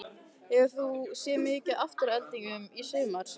Hefur þú séð mikið til Aftureldingar í sumar?